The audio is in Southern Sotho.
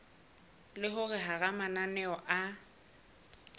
le hore hara mananeo a